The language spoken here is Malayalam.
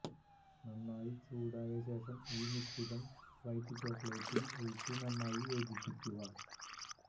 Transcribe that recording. നന്നായി ചൂടായ ശേഷം ഈ മിശ്രിതം വൈറ്റ് ചോക്ലേറ്റിൽ ഒഴിച്ച് നന്നായി യോജിപ്പിക്കുക